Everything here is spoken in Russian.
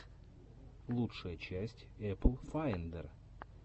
лучшая часть эпл файндер